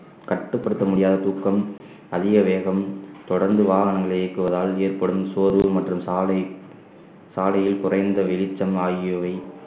கட்டுப்படுத்த முடியாத தூக்கம் அதிக வேகம் தொடர்ந்து வாகனங்களை இயக்குவதால் ஏற்படும் சோர்வு மற்றும் சாலை சாலையில் குறைந்த வெளிச்சம் ஆகியவை